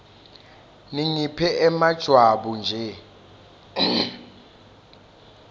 ningiphe emajwabu nje